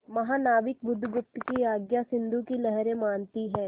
महानाविक बुधगुप्त की आज्ञा सिंधु की लहरें मानती हैं